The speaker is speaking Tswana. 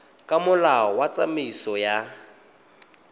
ka molao wa tsamaiso ya